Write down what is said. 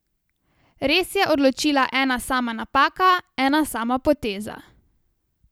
Res je odločila ena sama napaka, ena sama poteza.